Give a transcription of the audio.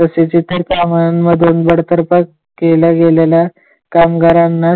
तसेच इतर कामांमधून बडतर्फ केले गेलेलय कामगारांना,